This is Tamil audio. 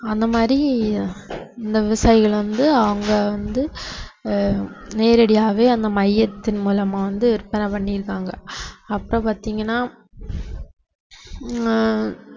அந்த மாதிரி இந்த விவசாயிகள் வந்து அவங்க வந்து அஹ் நேரடியாவே அந்த மையத்தின் மூலமா வந்து விற்பனை பண்ணியிருப்பாங்க அப்ப பாத்தீங்கன்னா ஹம்